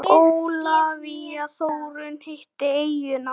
Ólafía Þórunn hitti eyjuna.